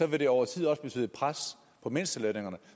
vil det over tid også betyde et pres på mindstelønningerne